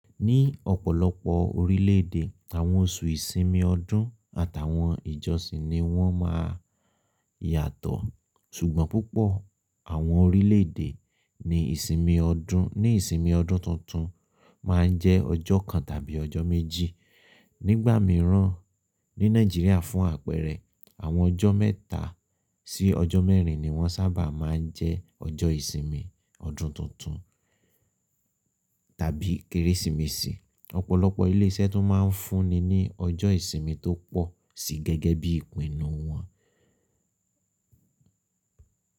Ní ọ̀pọ̀lọpọ̀ orílẹ̀ èdè, àwọn oṣù ìsinmi ọdún àtàwọn ìjọsìn ni wọ́n ma yàtọ̀. Ṣùgbọ́n púpọ̀ àwọn orílẹ̀ èdè ní ìsinmi ọdún, ní ìsinmi ọdún tuntun máa ń jẹ́ ọjọ́ kan tàbí ọjọ́ méjì. Nígbà mìíràn ní Nàìjíríà fún àpẹẹrẹ àwọn ọjọ́ mẹ́ta sí ọjọ́ mẹ́rin ni wọ́n sábà máa ń jẹ́ ọjọ́ ìsinmi ọdún tuntun tàbí Kérésìmesì. Ọpọlọpọ ile iṣẹ́ tún máa n fún ni ọjọ ìsinmi to pọ si gẹ́gẹ́ bi ìpinnu wọ́n.